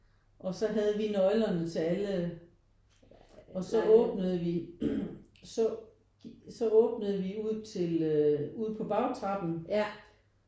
Og så havde vi nøglerne til alle og så åbnede vi så så åbnede vi ud til øh ud på bagtrappen